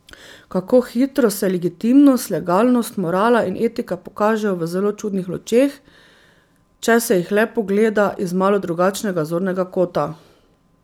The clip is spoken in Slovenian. Kako hitro se legitimnost, legalnost, morala in etika pokažejo v zelo čudnih lučeh, če se jih le pogleda iz malo drugačnega zornega kota.